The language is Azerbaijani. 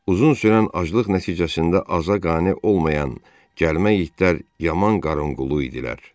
Uzun sürən aclıq nəticəsində aza qane olmayan gəlmə itlər yaman qarınqulu idilər.